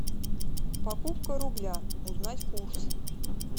покупка рубля узнать курс